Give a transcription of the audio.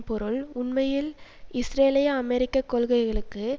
பொருள் உண்மையில் இஸ்ரேலிய அமெரிக்க கொள்கைகளுக்கு